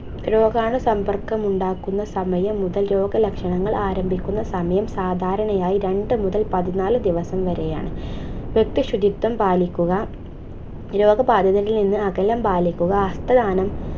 രോഗാണുസമ്പർക്കമുണ്ടാകുന്നസമയം മുതല രോഗലക്ഷണങ്ങൾ ആരംഭിക്കുന്ന സമയം സാധാരണയായി രണ്ടു മുതൽ പതിനാല് ദിവസം വരെയാണ് വ്യക്തിശുചിത്വം പാലിക്കുക രോഗബാധിതരിൽ നിന്ന് അകലം പാലിക്കുക ഹസ്തദാനം